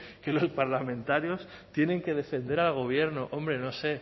que los parlamentarios tienen que defender al gobierno hombre no sé